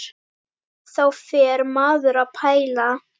Þá fer maður að pæla.